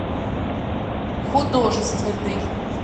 художественный